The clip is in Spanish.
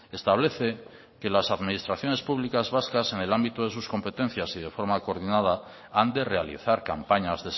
establece que las administraciones públicas vascas en el ámbito de sus competencias y de forma coordinada han de realizar campañas